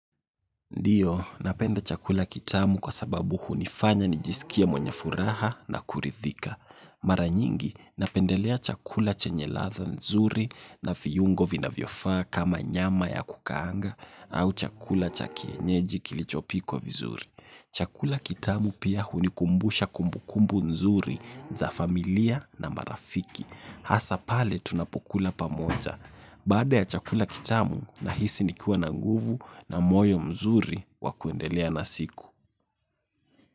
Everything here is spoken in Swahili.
Ndiyo, napenda chakula kitamu kwa sababu hunifanya nijisikie mwenye furaha na kurithika. Maranyingi, napendelea chakula chenye ladha nzuri na viyungo vinavyofaa kama nyama ya kukaanga au chakula cha kienyeji kilichopikwa vizuri. Chakula kitamu pia hunikumbusha kumbukumbu nzuri za familia na marafiki. Hasa pale tunapokula pamoja. Baada ya chakula kitamu nahisi nikiwa na nguvu na moyo mzuri wakundelea na siku.